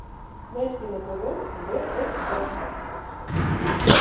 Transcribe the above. найти на тв бст